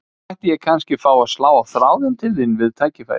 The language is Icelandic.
Mætti ég kannski fá að slá á þráðinn til þín við tækifæri?